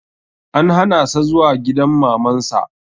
An hana sa zuwa gidan Maman sa